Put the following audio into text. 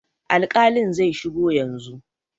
Alƙalin zai shigo yanzu.